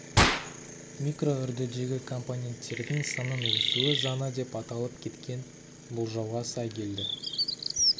микроүрдідегі компоненттердің санының өсуі заңы деп аталып кеткен болжауға сай келді